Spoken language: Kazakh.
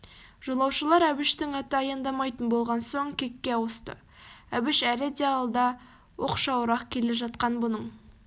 жолаушылар әбіштің аты аяндамайтын болған соң кекке ауысты әбіш әлі де алда оқшауырақ келе жатқан бұның